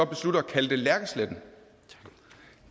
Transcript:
besluttet at kalde det lærkesletten